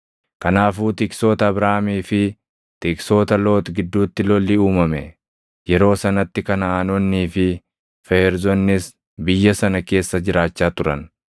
Kanaafuu tiksoota Abraamii fi tiksoota Loox gidduutti lolli uumame. Yeroo sanatti Kanaʼaanonnii fi Feerzonnis biyya sana keessa jiraachaa turan.